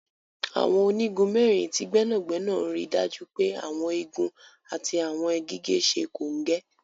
Àwọn onigun mẹrin ti gbẹnagbẹna n ríì dájú pé Àwọn igun àti àwọn gígẹ̀ sẹ́ kọ́ngẹ́.